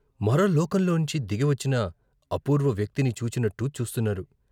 మరో లోకంలోంచి దిగివచ్చిన అపూర్వ వ్యక్తిని చూచినట్టు చూస్తున్నారు.